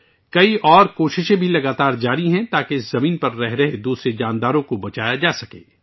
اور بھی کئی کوششیں مسلسل جاری ہیں، تاکہ اس زمین پر رہنے والے دیگر جانوروں کو بچایا جا سکے